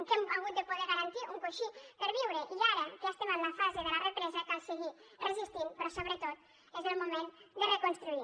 que hem hagut de poder garantir un coixí per viure i ara que ja estem en la fase de la represa cal seguir resistint però sobretot és el moment de reconstruir